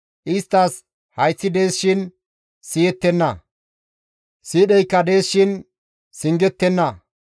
Isttas hayththi dees shin siyettenna; siidheykka dees shin singettenna.